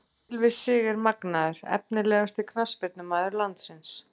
Gylfi Sig er magnaður Efnilegasti knattspyrnumaður landsins?